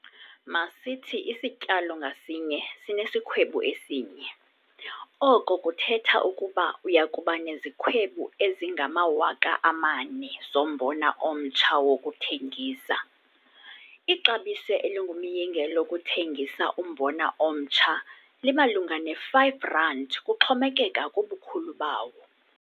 Masithi isityalo ngasinye sinesikhwebu esinye, oko kuthetha ukuba uya kuba nezikhwebu ezingama-4 000 zombona omtsha wokuthengisa. Ixabiso elingumyinge lokuthengisa umbona omtsha limalunga ne-R5 kuxhomekeka kubukhulu bawo.